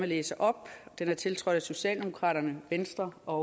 læse op den er tiltrådt af socialdemokraterne venstre og